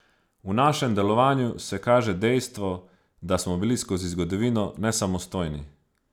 V našem delovanju se kaže dejstvo, da smo bili skozi zgodovino nesamostojni.